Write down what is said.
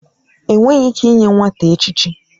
Enweghị ike inye nwata echichi.